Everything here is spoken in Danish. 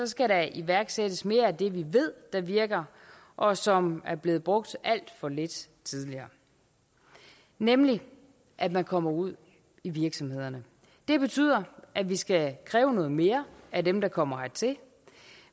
skal der iværksættes mere af det vi ved virker og som er blevet brugt alt for lidt tidligere nemlig at man kommer ud i virksomhederne det betyder at vi skal kræve noget mere af dem der kommer hertil